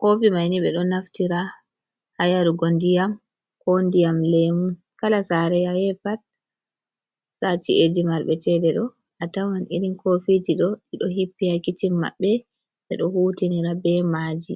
kofi maini ɓeɗo naftira hayarugo ndiyam, ko ndiyam lemu. kala sare aye pat sa ci’eji marɓe chede ɗo, a tawan irin kofiji ɗo ɗiɗo hippi ha kicin maɓɓe ɓeɗo hutinira be maji.